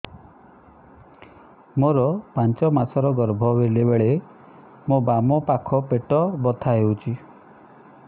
ମୋର ପାଞ୍ଚ ମାସ ର ଗର୍ଭ ବେଳେ ବେଳେ ମୋ ବାମ ପାଖ ପେଟ ବଥା ହଉଛି